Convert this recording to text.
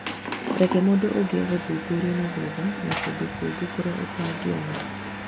Reke mũndũ ũngĩ agũthuthurie nathutha na kũndũ kũngĩ kũritũ ũtangĩona.